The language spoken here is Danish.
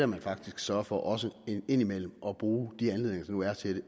man faktisk sørger for også indimellem at bruge de anledninger der nu er til